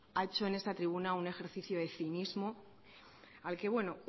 ha hecho en esta tribuna un ejercicio de cinismo al que bueno